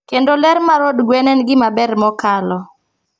Kendo ler mar od gwen en gima ber mokalo.